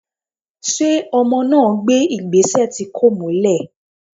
ṣe ọmọ na gbé igbesẹ tí kọ̀ múlè?